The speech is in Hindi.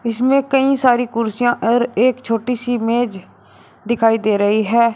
इसमें कई सारी कुर्सियां और एक छोटी सी मेज दिखाई दे रही है।